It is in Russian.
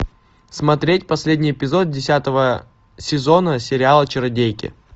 смотреть последний эпизод десятого сезона сериала чародейки